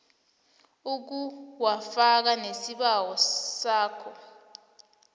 ukuwafaka nesibawo sakho